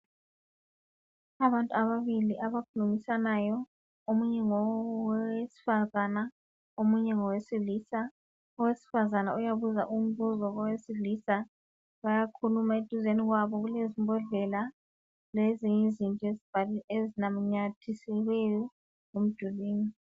Abantu ababili abakhulumisanayo. Omunye ngowesifazane omunye ngowesilisa. Owesifazane uyabuza umbuzo kowesilisa, bayakhuluma. Eduzane kwabo kulezimbodlela lezinye izinto ezinanyathiselweyo emdulwini.